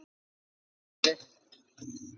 Hvert ferðu?